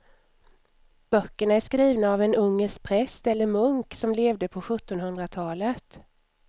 Böckerna är skrivna av en ungersk präst eller munk som levde på sjuttonhundratalet.